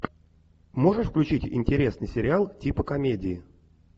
можешь включить интересный сериал типа комедии